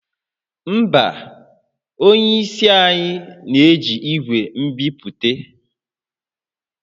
Mba, onye isi anyị na-eji igwe nbipute